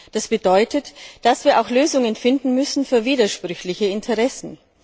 Das bedeutet, dass wir auch Lösungen finden müssen für widersprüchliche Interessen.